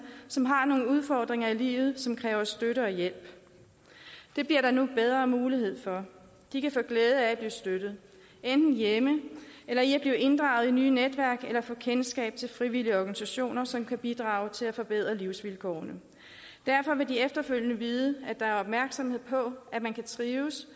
som har nogle udfordringer i livet som kræver støtte og hjælp det bliver der nu bedre mulighed for de kan få glæde af at blive støttet enten hjemme eller i at blive inddraget i nye netværk eller få kendskab til frivillige organisationer som kan bidrage til at forbedre livsvilkårene derfor vil de efterfølgende vide at der er opmærksomhed på at man kan trives